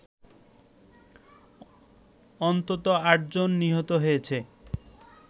অন্তত ৮ জন নিহত হয়েছে